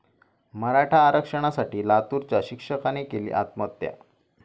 मराठा आरक्षणासाठी लातूराच्या शिक्षकाने केली आत्महत्या